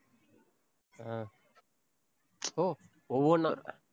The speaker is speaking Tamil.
ஆஹ் ஓ, ஒவ்வொண்ணா?